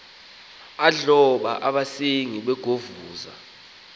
adloba abasengi begovuza